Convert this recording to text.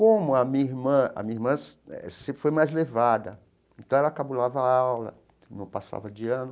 Como a minha irmã a minha irmã sempre foi mais levada, então ela cabulava a aula, não passava de ano,